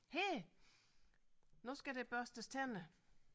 Her nu skal der børstes tænder